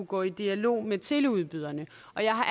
gå i dialog med teleudbyderne